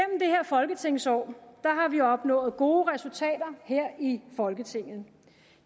det her folketingsår har vi opnået gode resultater her i folketinget